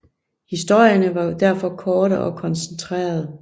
Historierne var derfor korte og koncentrerede